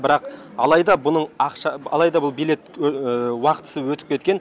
бірақ алайда бұның ақша алайда бұл билет уақытысы өтіп кеткен